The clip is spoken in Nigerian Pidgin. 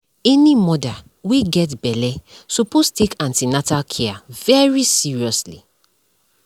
any mother wey get belle suppose take an ten atal care very seriously